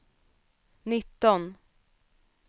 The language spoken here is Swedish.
nitton